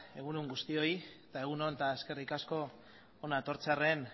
egun on guztioi eta egun on eta eskerrik asko hona etortzearren